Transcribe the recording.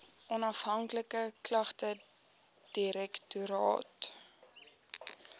onafhanklike klagtedirektoraat